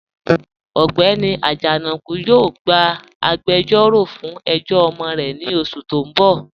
Ọgbẹ́ni Ajanaku yóò gbà àgbèjọ̀ró fún ẹ̀jọ̀ ọmọ rẹ̀ ní oṣù tí n bọ̀.